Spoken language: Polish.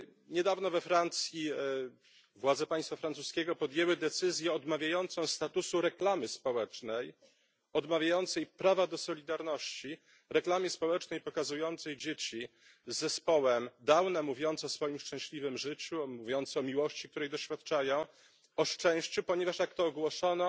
Niedawno we Francji władze państwa francuskiego podjęły decyzję odmawiającą statusu reklamy społecznej, odmawiającą prawa do solidarności reklamie społecznej pokazującej dzieci z zespołem Downa mówiące o swoim szczęśliwym życiu, mówiące o miłości, której doświadczają, o szczęściu, ponieważ jak to ogłoszono